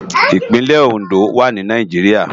Ipinlè Ondo wá ni Náijiriá